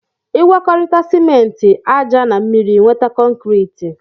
Igwakọrita sịmenti, aja na mmiri ịnweta kọnkriti